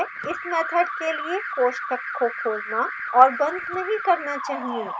इस मैथड के लिए कोष्ठक को खोलना और बंद नहीं करना चाहिए